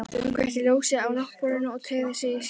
Hann kveikti ljósið á náttborðinu og teygði sig í símtólið.